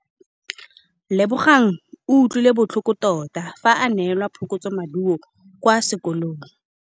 Lebogang o utlwile botlhoko tota fa a neelwa phokotsômaduô kwa sekolong.